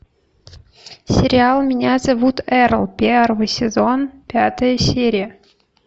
сериал меня зовут эрл первый сезон пятая серия